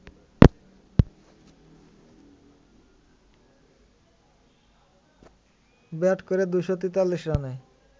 bat করে ২৪৩ রানে